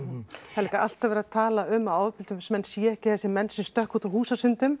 það er líka alltaf verið að tala um að ofbeldismenn séu ekki þessir menn sem stökkva út úr